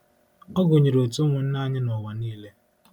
Ọ gụnyere òtù ụmụnna anyị n’ụwa nile.